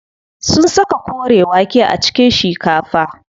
Sun saka kore wake a cikin shikafa.